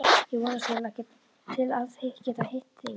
Ég hafði vonast til að geta hitt þig í